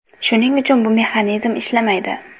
Shuning uchun bu mexanizm ishlamaydi.